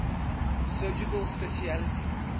surgical specialties